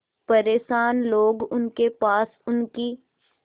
परेशान लोग उनके पास उनकी